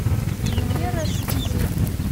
венера свизева